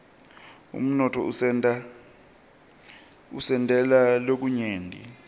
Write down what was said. umnotfo usentela lokunyenti